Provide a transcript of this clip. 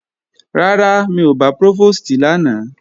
Rárá, mi ò bá Prófòstì lánàá